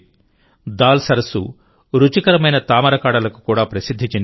దాల్ సరస్సు రుచికరమైన తామరకాడలకు కూడా ప్రసిద్ధి చెందింది